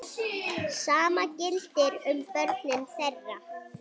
Sama gildir um börnin þeirra.